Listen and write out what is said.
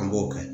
An b'o kɛ